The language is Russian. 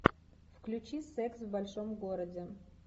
включи секс в большом городе